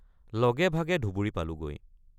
লগেভাগে ধুবুৰী পালোগৈ।